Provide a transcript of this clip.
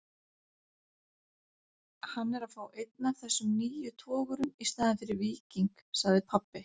Hann er að fá einn af þessum nýju togurum í staðinn fyrir Víking, sagði pabbi.